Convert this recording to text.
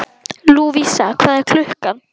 Lúvísa, hvað er klukkan?